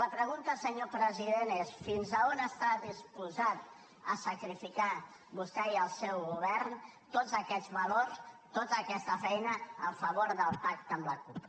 la pregunta senyor president és fins a on està disposat a sacrificar vostè i el seu govern tots aquests valors tota aquesta feina a favor del pacte amb la cup